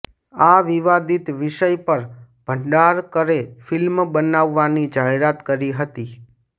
આ વિવાદિત વિષય પર ભંડારકરે ફિલ્મ બનાવવાની જાહેરાત કરી હતી